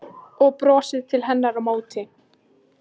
Og brosir til hennar á móti.